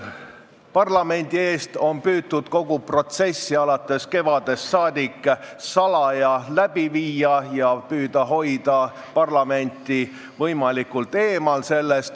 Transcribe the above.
Alates kevadest on püütud kogu protsessi parlamendi eest salaja läbi suruda ja hoitud meid sellest võimalikult eemal.